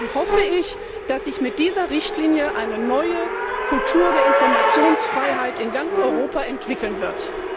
Darum hoffe ich, dass sich mit dieser Richtlinie eine neue Kultur der Informationsfreiheit in ganz Europa entwickeln wird.